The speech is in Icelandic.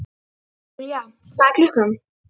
Julia, hvað er klukkan?